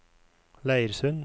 Leirsund